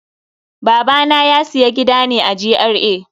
Babana ya siya gida ne a GRA.